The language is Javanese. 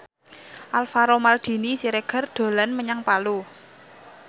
Alvaro Maldini Siregar dolan menyang Palu